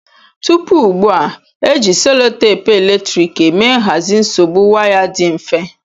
Tupu ugbua, e ji selotepu eletrik eme nhazi nsogbu waya dị mfe.